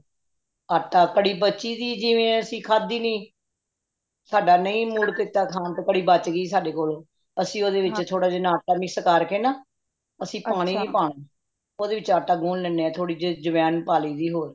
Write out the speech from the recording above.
ਆਟਾ ਕੜੀ ਬੱਚੀ ਦੀ ਜਿਵੇ ਅੱਸੀ ਖਾਦੀ ਨਹੀਂ ਸਾਡਾ ਨਹੀਂ mood ਕਿਤਾ ਖਾਨ ਤੇ ਕੜੀ ਬਚਗਯੀ ਸਾਡੇ ਕੋਲੋਂ ਅੱਸੀ ਉਦੇ ਵਿੱਚ ਥੋੜਾ ਜਿਨ੍ਹਾਂ ਆਟਾ mix ਕਰਕੇ ਨਾ ਅਸੀਂ ਪਾਣੀ ਨਹੀਂ ਪਾਣਾ ਉਹਦੇ ਵਿੱਚ ਆਟਾ ਗੁਨਲੈਂਦੇ ਥੋੜਿੱਚ ਅਝਵੈੱਨ ਪਾਲਿਦੀ ਹੋਰ